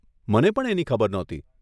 મને પણ એની ખબર નહોતી.